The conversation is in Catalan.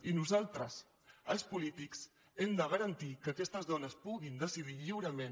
i nosaltres els polítics hem de garantir que aquestes dones puguin decidir lliurement